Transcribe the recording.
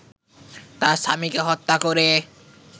তার স্বামীকে হত্যা করে